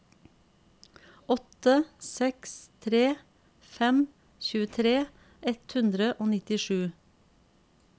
åtte seks tre fem tjuetre ett hundre og nittisju